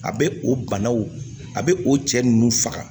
A bɛ o banaw a bɛ o cɛ ninnu faga